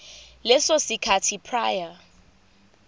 leso sikhathi prior